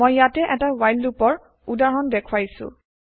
মই ইয়াতে এটা ৱ্হাইল লুপৰ উদাহৰণ দেখুৱাইছো